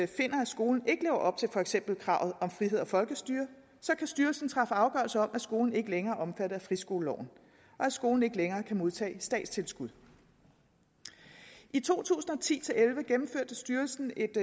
finder at skolen ikke lever op til for eksempel kravet om frihed og folkestyre så kan styrelsen træffe afgørelse om at skolen ikke længere er omfattet af friskoleloven og at skolen ikke længere kan modtage statstilskud i to tusind og ti til elleve gennemførte styrelsen et